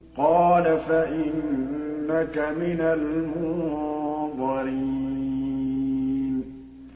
قَالَ فَإِنَّكَ مِنَ الْمُنظَرِينَ